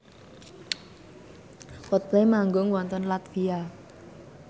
Coldplay manggung wonten latvia